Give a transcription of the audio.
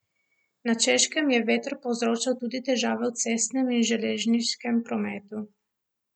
Na Češkem je veter povzročal tudi težave v cestnem in železniškem prometu.